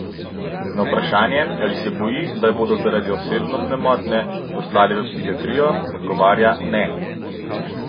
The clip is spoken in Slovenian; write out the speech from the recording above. Na vprašanje, ali se boji, da jo bodo zaradi osebnostne motnje poslali v psihiatrijo, odgovarja: "Ne.